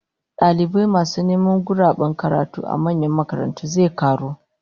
Dalibai masu neman guraben karatu a manyan makarantu zai karu